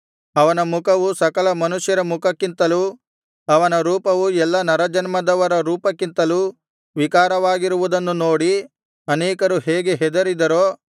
ಅವನ ಮುಖವು ಸಕಲ ಮನುಷ್ಯರ ಮುಖಕ್ಕಿಂತಲೂ ಅವನ ರೂಪವು ಎಲ್ಲಾ ನರಜನ್ಮದವರ ರೂಪಕ್ಕಿಂತಲೂ ವಿಕಾರವಾಗಿರುವುದನ್ನು ನೋಡಿ ಅನೇಕರು ಹೇಗೆ ಹೆದರಿದರೋ